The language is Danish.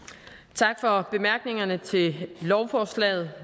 tak for bemærkningerne til lovforslaget